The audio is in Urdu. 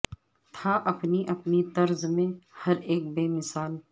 تھا اپنی اپنی طرز میں ہر ایک بے مثال